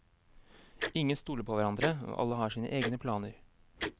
Ingen stoler på hverandre, og alle har sine egne planer.